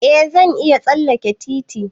Eh zan iya tsalleke titi.